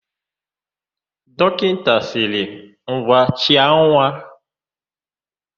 Dọkịta sịrị, "ngwa chịa nwa"!